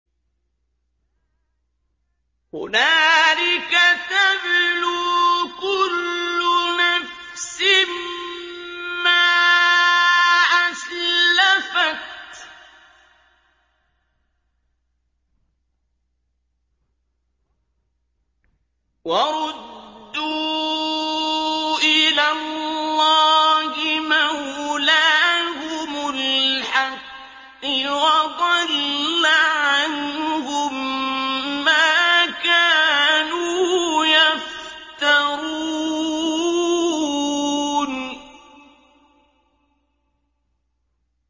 هُنَالِكَ تَبْلُو كُلُّ نَفْسٍ مَّا أَسْلَفَتْ ۚ وَرُدُّوا إِلَى اللَّهِ مَوْلَاهُمُ الْحَقِّ ۖ وَضَلَّ عَنْهُم مَّا كَانُوا يَفْتَرُونَ